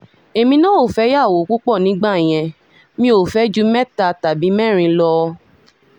èmi náà ò fẹ́yàwó púpọ̀ nígbà yẹn mi ò fẹ́ ju mẹ́ta tàbí mẹ́rin lọ